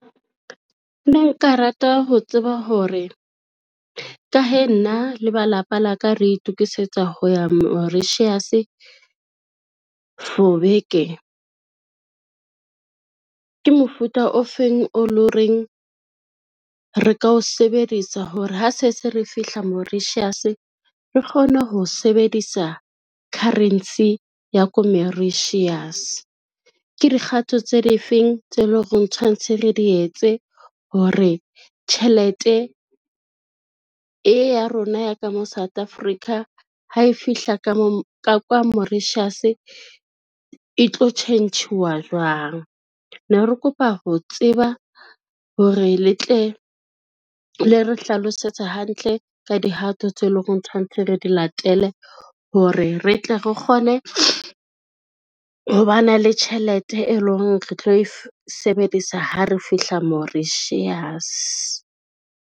Ne nka rata ho tseba hore ka hee nna le ba lapa la ka re itokisetsa ho ya Mauritius for beke. Ke mofuta o feng o lo reng re ka o sebedisa hore ha se se re fihla Mauritius re kgone ho sebedisa currency ya ko Mauritius. Ke dikgato tse difeng tseo e leng horeng tshwantshe re di etse hore tjhelete e ya rona ya ka mo, South Africa ha e fihla ka kwa Mauritius, e tlo tjhentjhuwa jwang. Ne re kopa ho tseba hore le tle le re hlalosetse hantle ka dihato tseo e leng hore re tshwanetse re di latele hore re tle re kgone ho ba na le tjhelete, e lo reng re tlo e sebedisa ha re fihla Mauritius.